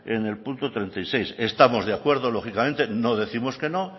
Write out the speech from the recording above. en el punto treinta y seis estamos de acuerdo lógicamente no décimos que no